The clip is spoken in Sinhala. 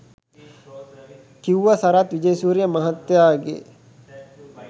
කිව්ව සරත් විජේසූරිය මහත්තයගෙ